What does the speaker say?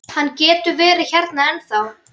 Hann getur verið hérna ennþá.